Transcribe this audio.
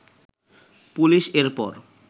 police এর পর